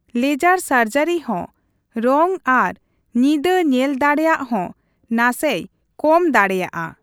Laser ᱥᱟᱨᱡᱟᱨᱤ ᱦᱚᱸ ᱨᱚᱝ ᱟᱨ ᱧᱤᱫᱟᱹ ᱧᱮᱞ ᱫᱟᱲᱮᱭᱟᱜ ᱦᱚᱸ ᱱᱟᱥᱮᱭ ᱠᱚᱢ ᱫᱟᱲᱮᱭᱟᱜᱼᱟ ᱾